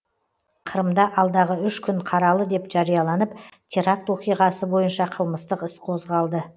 қырымда алдағы үш күн қаралы деп жарияланып теракт оқиғасы бойынша қылмыстық іс қозғалды